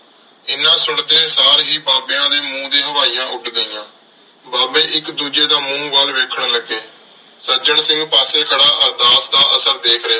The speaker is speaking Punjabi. ਐਨਾ ਸੁਣਦੇ ਸਾਰ ਹੀ ਬਾਬਿਆਂ ਦੇ ਮੂੰਹ ਤੇ ਹਵਾਈਆਂ ਉੱਡ ਗਈਆਂ। ਬਾਬੇ ਇੱਕ ਦੂਜੇ ਦਾ ਮੂੰਹ ਵੱਲ ਵੇਖਣ ਲੱਗੇ। ਸੱਜਣ ਸਿੰਘ ਪਾਸੇ ਖੜ੍ਹਾ ਅਰਦਾਸ ਦਾ ਅਸਰ ਦੇਖ ਰਿਹਾ ਸੀ।